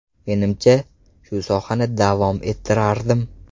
Menimcha, shu sohani davom ettirardim.